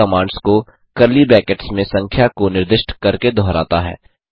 यह कमांड्स को curly brackets में संख्या को निर्दिष्ट करके दोहराता है